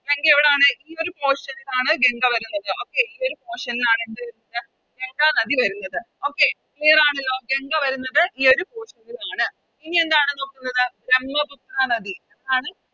ഗംഗ എവിടാണ് ഈയൊരു Portion ലാണ് ഗംഗ വരുന്നത് Okay ഈയൊരു Portion ൽ ആണ് എന്ത് വരുന്നത് ഗംഗ നദി വരുന്നത് Okay clear ആണല്ലോ ഗംഗ വരുന്നത് ഈയൊരു Portion ൽ ആണ് ഇനിയെന്താണ് നോക്കുന്നത് ബ്രമ്മപുത്ര നദി ആണ്